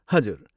हजुर।